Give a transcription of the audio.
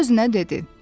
Öz-özünə dedi.